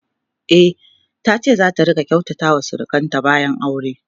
e tace zata rinka kyautata wa surukanta bayan aure